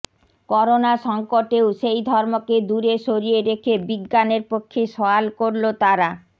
corona সঙ্কটেও সেই ধর্মকে দূরে সরিয়ে রেখে বিজ্ঞানের পক্ষে সওয়াল করল তারা